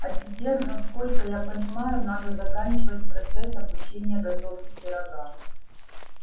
а тебе насколько я понимаю надо заканчивать процесс обучения готовки пирога